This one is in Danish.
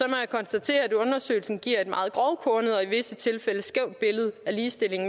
jeg konstatere at undersøgelsen giver et meget grovkornet og i visse tilfælde skævt billede af ligestilling